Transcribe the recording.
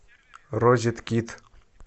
розет кид